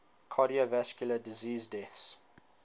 cardiovascular disease deaths